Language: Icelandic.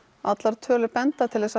allar tölur benda til